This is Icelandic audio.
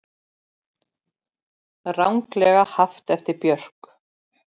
Ranglega haft eftir Björk